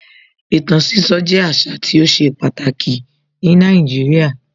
Ìtàn sísọ jẹ́ àṣà tí ó ṣe pàtàkì ní Nàìjíríà.